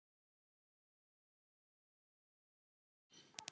Á einni nóttu!